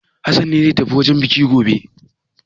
Hassan ne zai tafi wajen buki gobe.